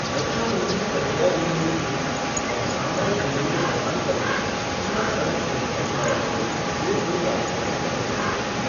रक्षा मंत्री कठुआ जिले में ऊझ और सांबा जिले में बसांतर में सीमा सड़क संगठन द्वारा निर्मित दो पुल राष्ट्र को समर्पित करेंगे।